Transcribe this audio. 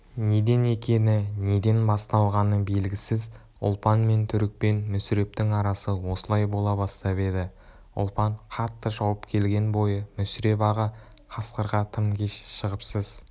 неден екені неден басталғаны белгісіз ұлпан мен түрікпен мүсірептің арасы осылай бола бастап еді ұлпан қатты шауып келген бойы мүсіреп аға қасқырға тым кеш шығыпсыз